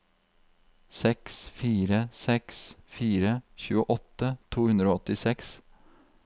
seks fire seks fire tjueåtte to hundre og åttiseks